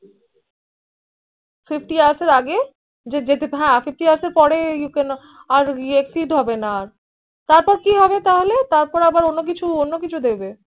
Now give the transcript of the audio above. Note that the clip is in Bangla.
Fifty hours আগে Fifty hours পরে You Can Not আর exceed হবে না তারপর কি হবে তাহলে তারপর আবার অন্য কিছু অন্য কিছু দিবে